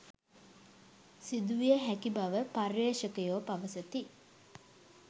සිදුවිය හැකි බව පර්යේෂකයෝ පවසති